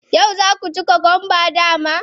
Yau za ku ci cucumbers, dama?